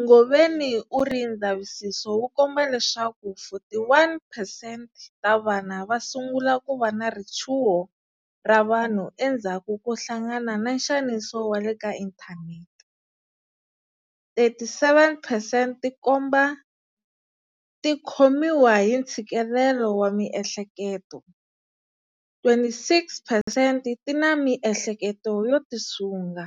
Ngobeni u ri ndzavisiso wu komba leswaku 41percent ta vana va sungula ku va na richuho ra vanhu endzhaku ko hlangana na nxaniso wa le ka inthanete, 37 percent ti komba ti khomiwa hi ntshikele wa miehleketo, 26 percent ti na miehleketo yo tisunga,